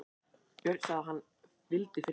Björn sagði að hann vildi frið.